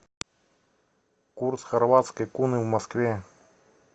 курс хорватской куны в москве